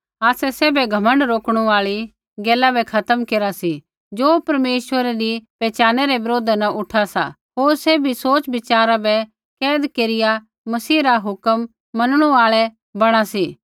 आसै सैभे घमण्डी रोकणु आल़ी गैला बै खत्म केरा ज़ो परमेश्वरै री पहचाने रै बरोधा न उठा सा होर सैभी सोच विचार बै कैद केरिया मसीहा रा हुक्म मनणु आल़ा बणा सी